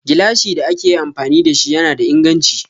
Gilashin da ake yi amfani da shi yana da inganchi.